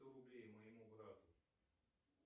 сто рублей моему брату